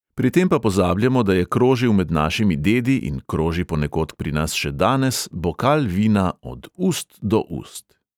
"Pri tem pa pozabljamo, da je krožil med našimi dedi in kroži ponekod pri nas še danes bokal vina od ust do ust."